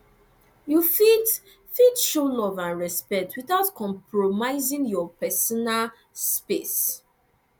you fit fit show love and respect without compromising your pesinal space